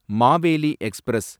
Maveli express